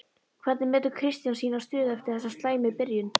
Hvernig metur Kristján sína stöðu eftir þessa slæmu byrjun?